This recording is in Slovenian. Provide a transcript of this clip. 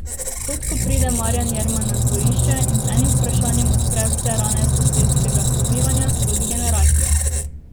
Kot ko pride Marjan Jerman na dvorišče in z enim vprašanjem odpre vse rane sosedskega sobivanja skozi generacije.